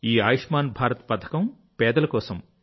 ఈ ఆయుష్మాన్ భారత్ పథకం పేదల కోసం